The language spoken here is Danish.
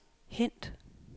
hent